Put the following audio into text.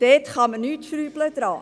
daran kann man nichts schrauben.